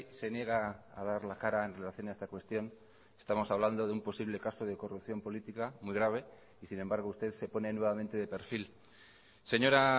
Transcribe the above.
se niega a dar la cara en relación a esta cuestión estamos hablando de un posible caso de corrupción política muy grave y sin embargo usted se pone nuevamente de perfil señora